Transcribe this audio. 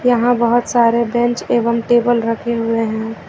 यहां बहोत सारे बेंच एवं टेबल रखे हुए हैं।